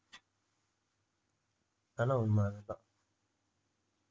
அதா உண்மை அதான்